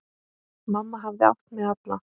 Mamma hafði átt mig alla.